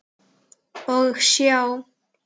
Og sjá!